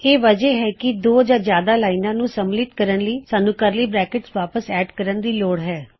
ਇਹ ਵਜਹ ਹੈ ਕਿ ਦੋਂ ਜਾਂ ਜ਼ਿਆਦਾ ਲਾਇਨਾਂ ਨੂੰ ਸਮਿਲਿਤ ਕਰਨ ਲਈ ਸਾੰਨ੍ਹੂ ਕਰਲੀ ਬਰੈਕਿਟਸ ਵਾਪਸ ਐਡ ਕਰਨ ਦੀ ਲੋੜ ਹੈ